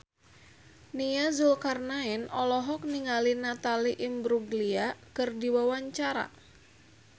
Nia Zulkarnaen olohok ningali Natalie Imbruglia keur diwawancara